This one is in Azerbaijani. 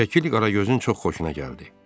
Şəkil Qaragözün çox xoşuna gəldi.